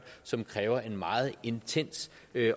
som kræver en meget intens